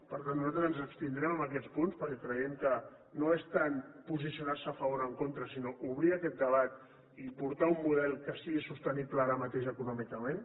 per tant nosaltres ens abstindrem en aquests punts perquè creiem que no és tant posicionar se a favor o en contra sinó obrir aquest debat i portar un model que sigui sostenible ara mateix econòmicament